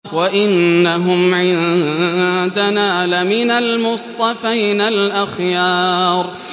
وَإِنَّهُمْ عِندَنَا لَمِنَ الْمُصْطَفَيْنَ الْأَخْيَارِ